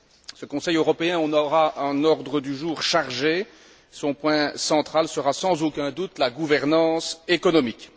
Ce Conseil européen aura un ordre du jour chargé, son point central sera sans aucun doute la gouvernance économique.